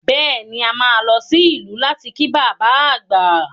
Bẹ́ẹ̀ ni, a máa lọ sí ìlú láti kí bàbá àgbà